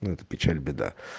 ну это печаль беда